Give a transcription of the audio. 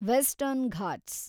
western Ghats